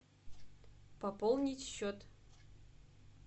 пополнить счет